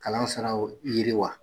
Kalan siraw yiriwa.